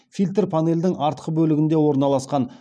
фильтр панельдің артқы бөлігінде орналасқан